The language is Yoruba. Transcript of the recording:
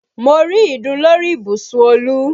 Mo rí ìdun lórí ibùsùn Olú